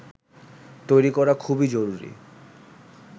তৈরি করা খুবই জরুরি